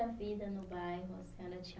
A vida no bairro, a senhora tinha